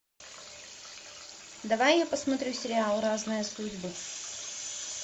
давай я посмотрю сериал разные судьбы